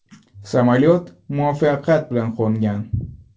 Samolyot muvaffaqiyat bilan qo‘ngan.